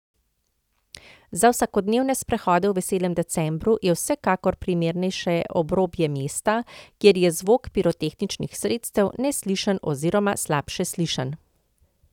Za vsakodnevne sprehode v veselem decembru je vsekakor primernejše obrobje mesta, kjer je zvok pirotehničnih sredstev neslišen oziroma slabše slišen.